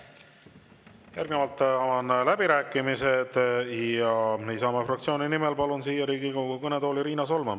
Järgnevalt avan läbirääkimised ja Isamaa fraktsiooni nimel palun siia Riigikogu kõnetooli Riina Solmani.